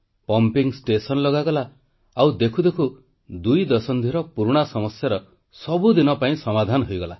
pumping station ତିଆରି କରାଗଲା ଆଉ ଦେଖୁ ଦେଖୁ ଦୁଇ ଦଶନ୍ଧିର ପୁରୁଣା ସମସ୍ୟାର ସବୁଦିନ ପାଇଁ ସମାଧାନ ହୋଇଗଲା